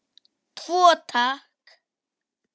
Tvo, takk!